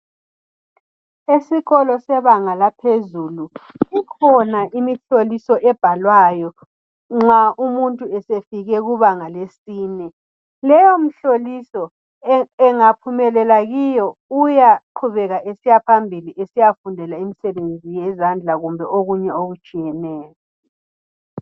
Esikolo sebanga laphezulu ikhona imihloliso ebhalwayo nxa umuntu esefike kubanga lesine leyo mihloliso engaphumelela kiyo uyaqhubeka esiya phambili esiyafundela imisebenzi yezandla kumbe okunye okutshiyeneyo